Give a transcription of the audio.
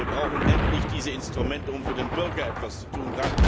Wir brauchen endlich diese Instrumente, um für den Bürger etwas zu tun.